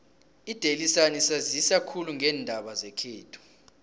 idaily sun isanzisa khulu ngeendaba zekhethu